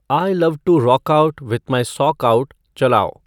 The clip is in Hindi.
I love to rock out with my sock out चलाओ